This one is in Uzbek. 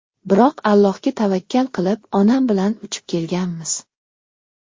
Biroq Allohga tavakkal qilib, onam bilan uchib kelganmiz.